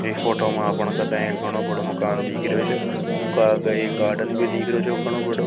इ फोटो में अपना कतए एक बड़ा मकान दिख रहो छ एका एक गार्डन भी दिख रहो छ घनो बडो।